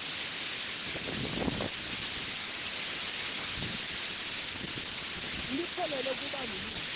liphelelwa kuba lilunga